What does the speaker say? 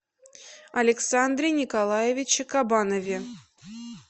александре николаевиче кабанове